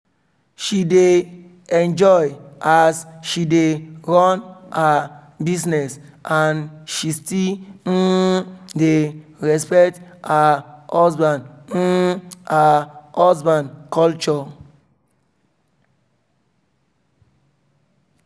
she dey enjoy as she dey run her business and she still um dey respect um her husband um her husband culture